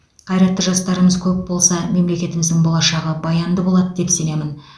қайратты жастарымыз көп болса мемлекетіміздің болашағы баянды болады деп сенемін